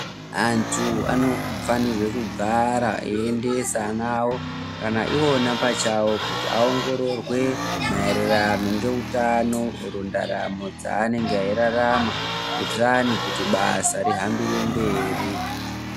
Antu anofanirwa kugara achiendesa ana awo kana iwona pachovo kuti vaongororwe maererano neutano mundaramo dzavanenge veirarama kuitira kuti basa rienderere mberi.